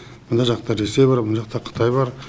мына жақта ресей бар мына жақта қытай бар